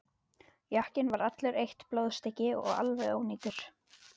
Jakkinn var allur eitt blóðstykki og alveg ónýtur.